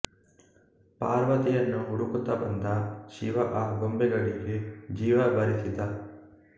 ಪಾರ್ವತಿಯನ್ನು ಹುಡುಕುತ್ತ ಬಂದ ಶಿವ ಆ ಗೊಂಬೆಗಳಿಗೆ ಜೀವ ಬರಿಸಿದ